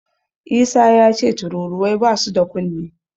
Isa yace tururuwai basu da kunne.